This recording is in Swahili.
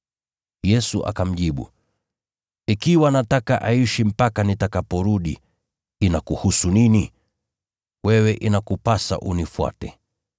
Yesu akamjibu, “Ikiwa nataka aishi mpaka nitakaporudi, inakuhusu nini? Wewe inakupasa unifuate!”